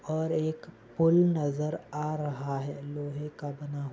और एक पुल नजर आ रहा है। लोहेका बना --